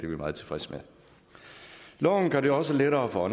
vi meget tilfredse med loven gør det også lettere for